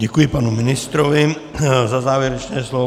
Děkuji panu ministrovi za závěrečné slovo.